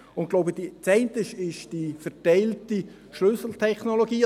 – Ich glaube, das eine ist die verteilte Schlüsseltechnologie.